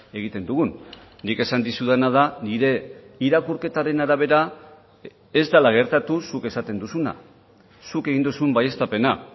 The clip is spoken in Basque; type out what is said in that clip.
egiten dugun nik esan dizudana da nire irakurketaren arabera ez dela gertatu zuk esaten duzuna zuk egin duzun baieztapena